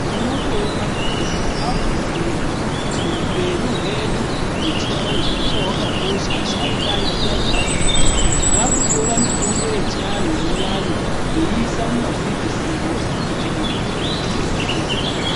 Tinotoona kuti vandu vakuziya kuti upenyu hwedu hwechianhu hwanga hwakakosha, vasharuka vaiziva zvaaiita, vakutora mitombo yechianhu iyani veiisa mumapilitsiwo kuti vandu vatodetsereka.